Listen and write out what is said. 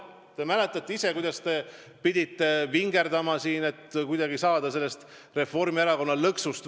Te mäletate, kuidas te pidite vingerdama, et kuidagi saada välja Reformierakonna lõksust.